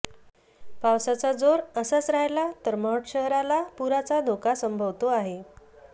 पावसाचा जोर असाच राहिला तर महड शहराला पुराचा धोका संभवतो आहे